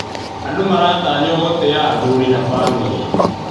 Andũ maratanywo gũtĩa athuri na bamĩrĩ.